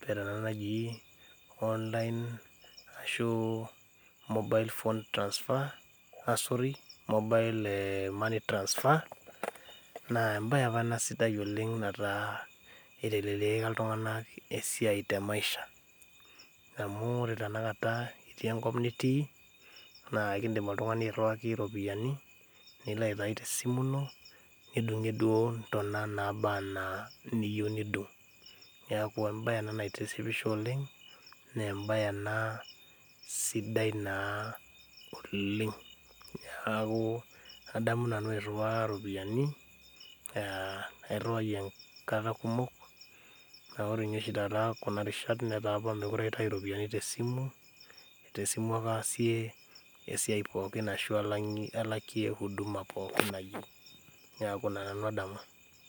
petana ena naji online ashu mobile phone transfer asory, mobile money transfer naa embaye apa ena sidai oleng nataa iteleliaka iltung'anak esiai te maisha amu ore tena kata itii enkop nitii naa kidim oltung'ani airriwaki iropiyiani nilo aitai tesimu ino nidung'ie duo intona naaba anaa niyieu nidung niaku embaye ena naitishipisho oleng nembaye ena sidai naa oleng niaku adamu nanu airriwaa iropiani uh airriwayie enkata kumok naa ore inye oshi taata enkata kumok netaa apa mekure aitai iropiani tesimu tesimu ake aasie esiai pookin arashu alakie huduma pookin nayieu neaku ina nanu adamu.